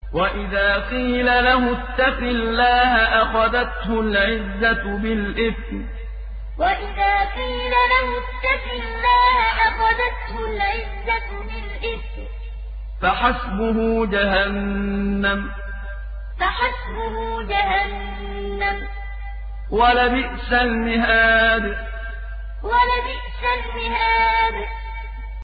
وَإِذَا قِيلَ لَهُ اتَّقِ اللَّهَ أَخَذَتْهُ الْعِزَّةُ بِالْإِثْمِ ۚ فَحَسْبُهُ جَهَنَّمُ ۚ وَلَبِئْسَ الْمِهَادُ وَإِذَا قِيلَ لَهُ اتَّقِ اللَّهَ أَخَذَتْهُ الْعِزَّةُ بِالْإِثْمِ ۚ فَحَسْبُهُ جَهَنَّمُ ۚ وَلَبِئْسَ الْمِهَادُ